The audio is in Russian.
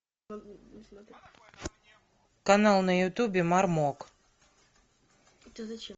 канал на ютубе мармок